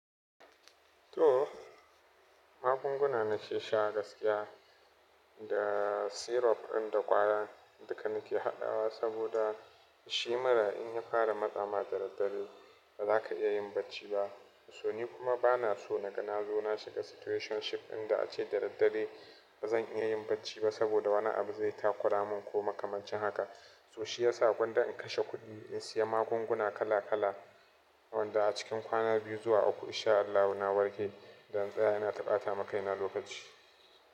To magunguna na nake sha gaskiya da syrup ɗin da ƙwayar duka nake haɗawa saboda shi mura in ya fara matsama da daddare ba za ka iya yin bacci ba. To ni kuma ba na so naga nazo na shiga situationship inda a ce da daddare ba zan iya yin bacci ba saboda wani abu zai takura mun ko makamancin haka. To shi ya sa gonda in kashe kuɗi in siya magunguna kala kala wanda a cikin kwana biyu zuwa uku in sha Allahu na warke. Da in tsaya ina ta ɓata makaina lokaci.